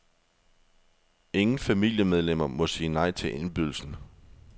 Ingen familiemedlemmer må sige nej til indbydelsen.